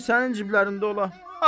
Bəlkə sənin ciblərin olar.